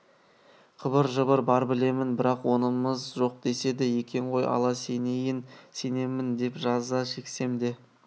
қыбыр-жыбыр бар білемін бірақ онымыз жоқ деседі екен ғой ал сенейін сенемін деп жаза шексем де